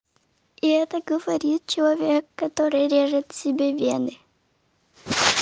и это говорит человек который режет себе вены